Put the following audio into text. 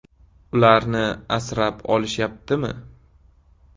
ularni asrab olishyaptimi?